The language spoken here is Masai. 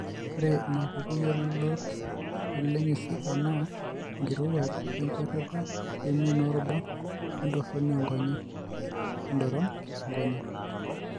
Ore inaapuku yiolot oleng eZika naa enkirowuaj, enkwetata, emion oorubat, oentoroni oonkonyek (Endoron oonkonyek)